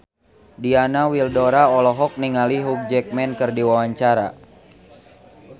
Diana Widoera olohok ningali Hugh Jackman keur diwawancara